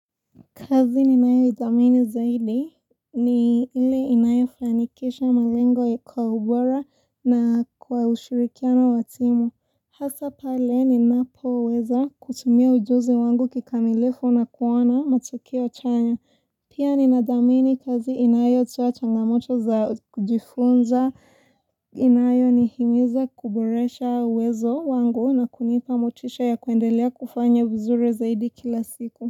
Kazi ninayoidhamini zaidi ni ile inayofanikisha malengo kwa ubora na kwa ushirikiano wa timu. Hasa pale ninapoweza kutumia ujuzi wangu kikamilifu na kuona matokeo chanya. Pia ninadhamini kazi inayotoa changamoto za kujifunza. Inayonihimiza kuboresha uwezo wangu na kunipa motisha ya kuendelea kufanya vizuri zaidi kila siku.